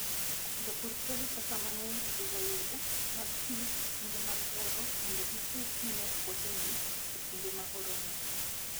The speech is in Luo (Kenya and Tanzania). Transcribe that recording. Jopur tiyo gi pesa mang'eny e gero yore mag pi e kinde mag oro mondo gichiw pi ne puothegi e kinde ma oro ng'eny.